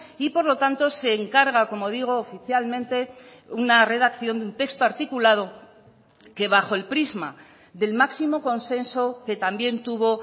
y por lo tanto se encarga como digo oficialmente una redacción de un texto articulado que bajo el prisma del máximo consenso que también tuvo